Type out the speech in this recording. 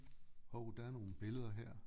Hov der er nogle billeder her